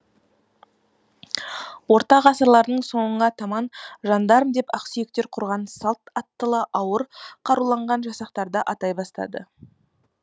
орта ғасырлардың соңына таман жандарм деп ақсүйектер құрған салт аттылы ауыр қаруланған жасақтарды атай бастады